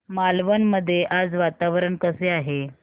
मालवण मध्ये आज वातावरण कसे आहे